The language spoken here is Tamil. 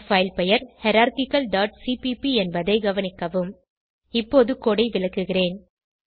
நம் பைல் பெயர் ஹைரார்ச்சிக்கல் டாட் சிபிபி என்பதை கவனிக்கவும் இப்போது கோடு ஐ விளக்குகிறேன்